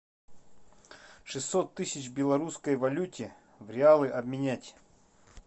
шестьсот тысяч в белорусской валюте в реалы обменять